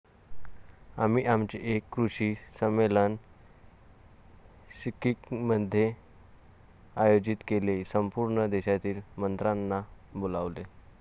आम्ही आमचे एक कृषी संमेलन सिक्कीममध्ये आयोजित केले, संपूर्ण देशातील मंत्र्यांना बोलावले.